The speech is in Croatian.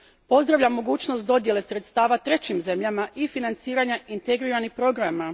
Pozdravljam mogućnost dodjele sredstava trećim zemljama i financiranja integriranih programa.